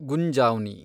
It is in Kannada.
ಗುಂಜಾವ್ನಿ